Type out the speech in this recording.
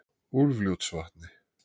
Úlfljótsvatni